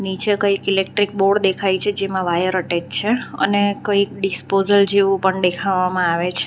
નીચે કંઈ electric board દેખાય છે જેમાં વાયર અટેચ છે અને કંઈક ડિસ્પોઝલ જેવું પણ દેખાવામાં આવે છે.